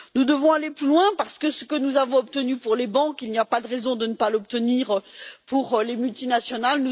Nous devons aller plus loin parce que ce que nous avons obtenu pour les banques, il n'y a pas de raison de ne pas l'obtenir pour les multinationales.